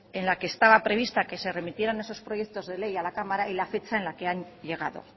en la que estaba prevista que se remitieran esos proyectos de ley a la cámara y la fecha en la que han llegado